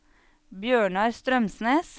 Bjørnar Strømsnes